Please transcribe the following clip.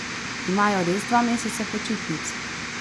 Imajo res dva meseca počitnic?